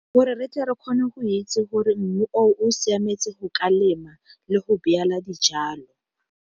Gore re tle re kgone go itse gore mmu o siametseng go ka lema le go beela dijalo.